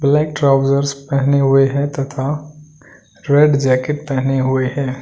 Black trousers पहने हुए हैं तथा रेड जैकेट पहने हुए हैं।